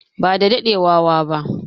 ba da daɗewa wa ba